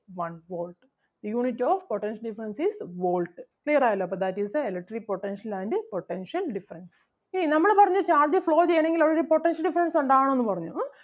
one volt. Unit of potential difference is volt. Clear ആയല്ലോ അപ്പം that is the electric potential and potential difference. ഇനി നമ്മള് പറഞ്ഞു charge flow ചെയ്യണെങ്കിൽ അവിടൊരു potential difference ഉണ്ടാകണം എന്ന് പറഞ്ഞു ഉം